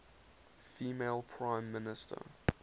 female prime minister